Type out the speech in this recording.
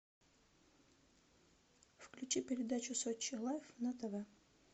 включи передачу сочи лайф на тв